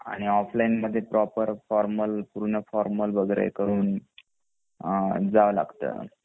आणि ऑफलाइन मध्ये proper formal पूर्ण फॉर्मल वगैरे करून जाव लागत